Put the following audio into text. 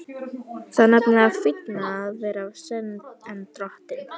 Það er nefnilega fínna að vera sen en dóttir.